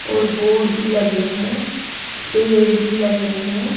और बोर्ड भी लगे हैं पेड़ भी लगे हैं।